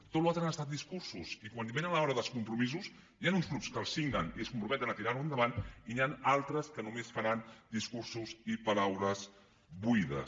tot allò altre han estat discursos i quan ve l’hora dels compromisos hi han uns grups que els signen i es comprometen a tirar ho endavant i n’hi han altres que només faran discursos i paraules buides